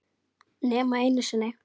Nema einu sinni.